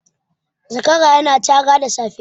Zakara ya na cara da safe